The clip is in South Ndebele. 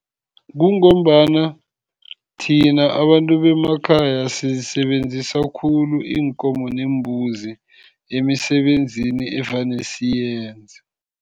Kungombana thina abantu bemakhaya sizisebenzisa khulu iinkomo neembuzi emisebenzini evane siyenze.